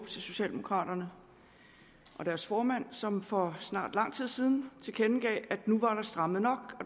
socialdemokraterne og deres formand som for snart lang tid siden tilkendegav at nu var der strammet nok